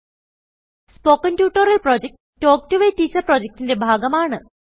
spoken tutorial project talk to a teacher പ്രൊജക്റ്റ്ന്റെ ഭാഗമാണ്